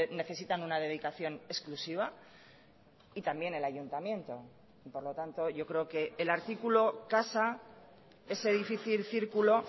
necesitan una dedicación exclusiva y también el ayuntamiento y por lo tanto yo creo que el artículo casa ese difícil círculo